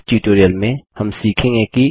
इस ट्यूटोरियल में हम सीखेंगे कि